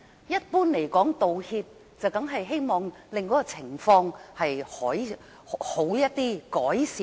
一般而言，道歉是希望情況變好，有所改善。